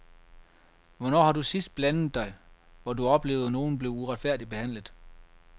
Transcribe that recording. Hvornår har du sidst blandet dig, hvor du oplevede nogen blive uretfærdigt behandlet.